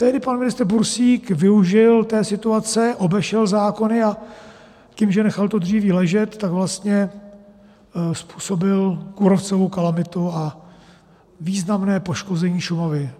Tehdy pan ministr Bursík využil té situace, obešel zákony a tím, že nechal to dříví ležet, tak vlastně způsobil kůrovcovou kalamitu a významné poškození Šumavy.